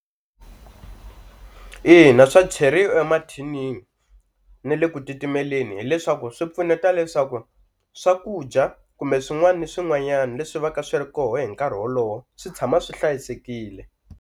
Ina swa cheriwa emathinini na le ku switimeleni hileswaku swi pfuneta leswaku swakudya kumbe swin'wana ni swin'wanyana leswi va ka swi ri koho hi nkarhi wolowo swi tshama swi hlayisekile.